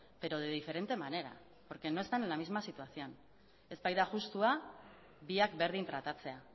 pero de diferente manera porque no están en la misma situación ez baita justua biak berdin tratatzea